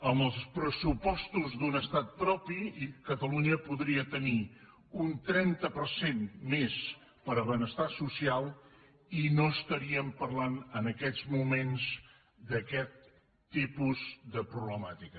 amb els pressupostos d’un estat propi catalunya podria tenir un trenta per cent més per a benestar social i no estaríem parlant en aquest moment d’aquest tipus de problemàtica